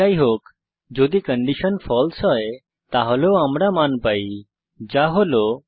যাইহোক যদি কন্ডিশন ফালসে হয় তাহলেও আমরা মান পাই যা হল 0